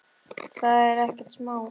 Það er ekkert smá.